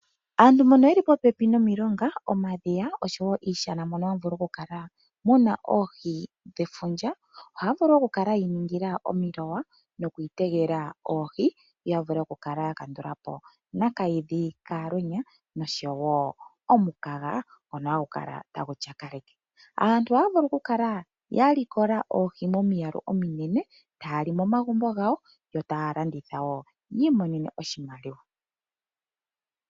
Aantu mbono yeli po pepi nomilonga, omadhiya, oshowo iishana mono hamu adhika oohi dhefundja ohaya vulu oku kala ya iningila omilowa nokuyuula oohi, opo ya vule oku kala ya kandula po na kaidhi kalwenya noshowo omukaga ngono hagu kala tagu tyakaleke. Aantu ohaya vulu oku kala, ya yuula oohi momiyalu ominene taya li momagumbo gawo oshowo taya landitha yi imonene mo oshimaliwa.